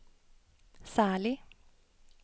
særlig